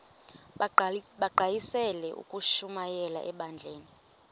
bagqalisele ukushumayela ebandleni